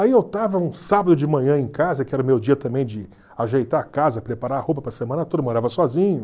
Aí eu estava um sábado de manhã em casa, que era o meu dia também de ajeitar a casa, preparar a roupa para a semana toda, morava sozinho.